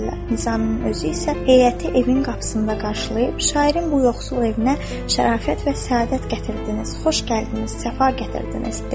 Nizami özü isə heyəti evin qapısında qarşılayıb, şairin bu yoxsul evinə şərafət və səadət gətirdiniz, xoş gəldiniz, səfa gətirdiniz, dedi.